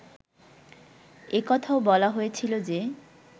এ কথাও বলা হয়েছিল যে